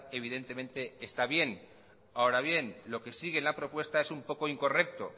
evidentemente está bien ahora bien lo que sigue en la propuesta es un poco incorrecto